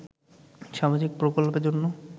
সামাজিক প্রকল্পের জন্য